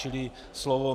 Čili slova